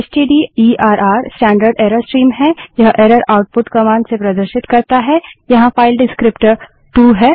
stderr standard error stream है यह error output commands से प्रदर्शित करता है यहाँ फाइल डिस्क्रीप्टर विवरणक टू है